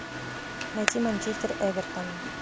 найти манчестер эвертон